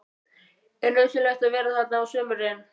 Er nauðsynlegt að vera þarna á sumrin?